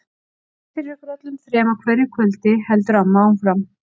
Ég bið fyrir ykkur öllum þrem á hverju kvöldi, heldur amma áfram.